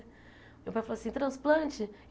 Meu pai falou assim, transplante?